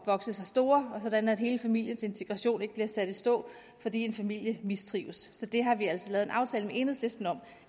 at vokse sig store og sådan at hele familiens integration ikke bliver sat i stå fordi en familie mistrives så det har vi altså lavet en aftale med enhedslisten om